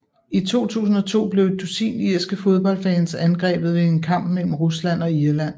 I 2002 blev et dusin irske fodboldfans angrebet ved en kamp mellem Rusland og Irland